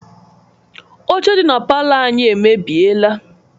Ọche dị na palọ anyị emebieela.